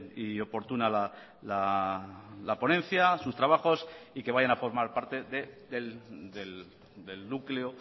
y oportuna la ponencia sus trabajos y que vayan a formar parte del núcleo